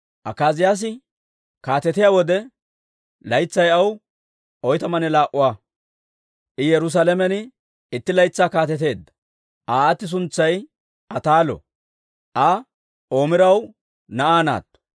Akaaziyaasi kaatetiyaa wode, laytsay aw oytamanne laa"ua; I Yerusaalamen itti laytsaa kaateteedda. Aa aati suntsay Ataalo; Aa Omiraw na'aa naatto.